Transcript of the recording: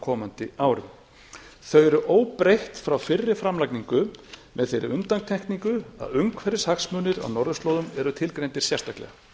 komandi árum þau eru óbreytt frá fyrri framlagningu með þeirri undantekningu að umhverfishagsmunir á norðurslóðum eru tilgreindir sérstaklega